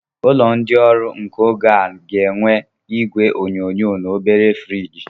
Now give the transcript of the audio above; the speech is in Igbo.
Ụlọ ndị ọrụ nke oge a ga-enwe igwe onyonyo na obere friji.